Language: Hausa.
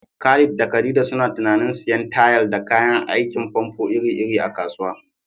Khalid da Khadija suna tunanin siyan tayal da kayan aikin famfo iri-iri a kasuwa.